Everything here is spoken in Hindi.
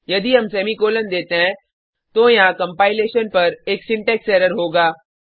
यदि हम सेमीकॉलन देते हैं तो यहाँ कंपाइलेशन पर एक सिंटेक्स एरर होगा